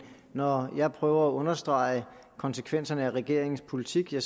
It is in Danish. når jeg prøver at understrege konsekvenserne af regeringens politik er